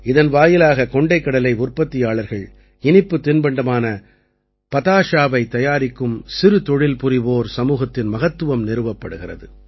இதன் வாயிலாக கொண்டைக்கடலை உற்பத்தியாளர்கள் இனிப்புத் தின்பண்டமான பதாஷாவைத் தயாரிக்கும் சிறு தொழில்புரிவோர் சமூகத்தின் மகத்துவம் நிறுவப்படுகிறது